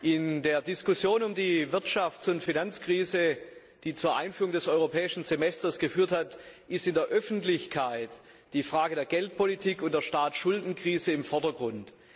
In der Diskussion um die Wirtschafts und Finanzkrise, die zur Einführung des Europäischen Semesters geführt hat, steht in der Öffentlichkeit die Frage der Geldpolitik und der Staatsschuldenkrise im Vordergrund.